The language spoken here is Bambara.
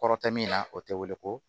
Kɔrɔ tɛ min na o tɛ weele ko